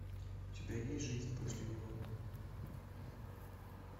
у тебя есть жизнь после него